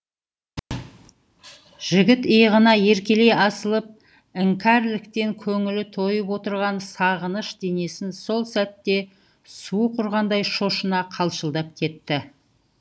жігіт иығына еркелей асылып іңкәрліктен көңілі тойып отырған сағыныш денесін сол сәтте суық ұрғандай шошына қалшылдап кетті